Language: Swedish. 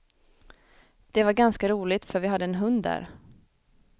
Det var ganska roligt, för vi hade en hund där.